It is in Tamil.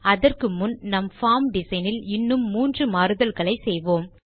அதற்கு முன் நம் பார்ம் டிசைன் இல் இன்னும் மூன்று மாறுதல்களை செய்வோம்